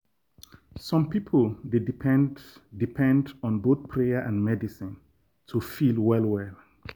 some people dey depend depend on both prayer and medicine to feel well well.